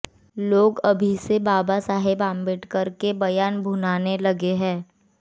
लोग अभी से बाबा साहब अम्बेडकर के बयान भुनाने लगे हैं